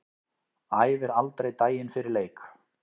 Æfir aldrei daginn fyrir leik.